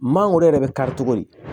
Mangoro yɛrɛ bɛ kari cogo di